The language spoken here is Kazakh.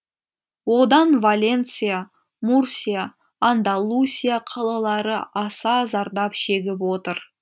одан валенсия мурсия андалусия қалалары аса зардап шегіп отыр